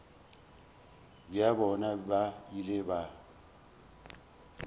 bja bona ba ile ba